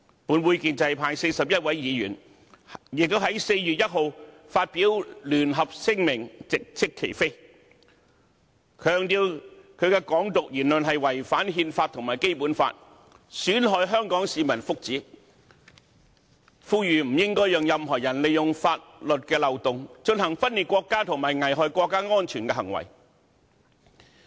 本會建制派41位議員，亦在4月1日發表聯合聲明直斥其非，強調他的"港獨"言論違反憲法和《基本法》，損害香港市民福祉，呼籲不應該讓任何人利用法律漏洞，進行分裂國家和危害國家安全的行為。